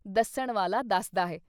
ਦੱਸਣ ਵਾਲਾ ਦੱਸਦਾ ਹੈ।